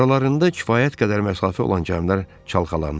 Aralarında kifayət qədər məsafə olan gəmilər çalxalanır.